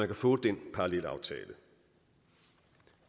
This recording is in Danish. kan få den parallelaftale